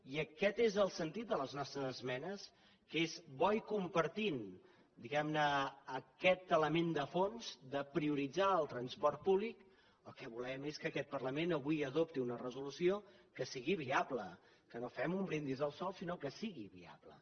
i aquest és el sentit de les nostres esmenes que és bo i compartint diguem ne aquest element de fons de prioritzar el transport públic el que volem és que aquest parlament avui adopti una resolució que sigui viable que no fem un brindis al sol sinó que sigui viable